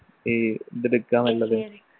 ഈ ഇതെടുക്കാന്നുള്ളത്